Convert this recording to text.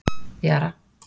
Jara